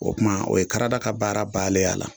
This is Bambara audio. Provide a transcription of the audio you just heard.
O kuma o ye karada ka baara balen ye a la